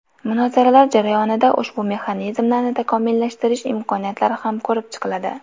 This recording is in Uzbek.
Munozaralar jarayonida ushbu mexanizmlarni takomillashtirish imkoniyatlari ham ko‘rib chiqiladi.